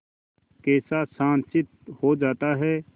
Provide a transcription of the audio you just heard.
कैसा शांतचित्त हो जाता है